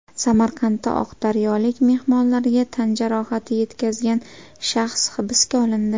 Samarqandda oqdaryolik mehmonlarga tan jarohati yetkazgan shaxs hibsga olindi.